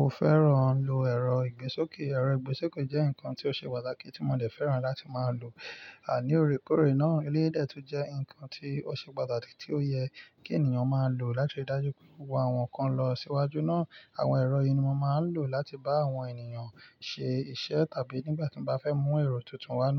o fẹ́ràn lo ẹ̀rọ ìgbín sókè? Ẹ̀rọ ìgbín sókè jẹ́ nǹkan tí ó ṣe pàtàkì tí mo dẹ̀ fẹ́ràn láti máa lò. Àní, ó rèkórè ná. Ilé ẹtọ jẹ́ nǹkan tí ó ṣe pàtàkì tí ó yẹ kí ènìyàn máa lò láti rí dájú wípé òhun kan lọ síwájú ná. Àwọn ẹ̀rọ ìní mo máa ń lò láti bá àwọn ènìyàn ṣe iṣẹ́ tàbí nígbà tí mo bá fẹ́ mú ẹ̀rọ tuntun wá ná.